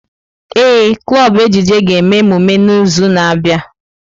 Ee, klọb ejije ga-eme emume n'izu na-abịa.